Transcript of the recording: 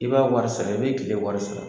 I b'a wari sara i bi kile wari sara